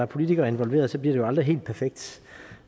politikere involveret så bliver det jo aldrig helt perfekt